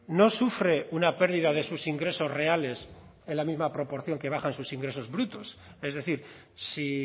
no sufre una pérdida de sus ingresos reales en la misma proporción que bajan sus ingresos brutos es decir si